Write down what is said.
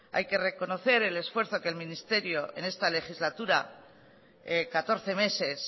hay que reconocer el esfuerzo que el ministerio en esta legislatura catorce meses